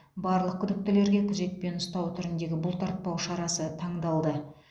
барлық күдіктілерге күзетпен ұстау түріндегі бұлтартпау шарасы таңдалды